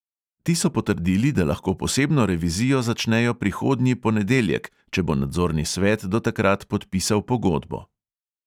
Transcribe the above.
Ti so potrdili, da lahko posebno revizijo začnejo prihodnji ponedeljek, če bo nadzorni svet do takrat podpisal pogodbo.